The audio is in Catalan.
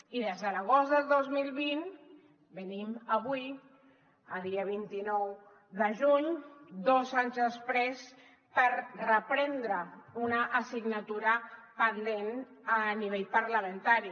i des de l’agost del dos mil vint venim avui dia vint nou de juny dos anys després per reprendre una assignatura pendent a nivell parlamentari